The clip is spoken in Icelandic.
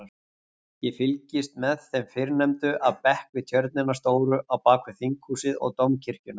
Ég fylgist með þeim fyrrnefndu af bekk við tjörnina stóru á bakvið Þinghúsið og Dómkirkjuna.